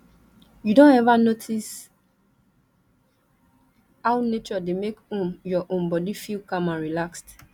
you don ever notice how nature dey make um your um body feel calm and relaxed